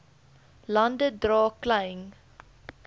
lande dra klein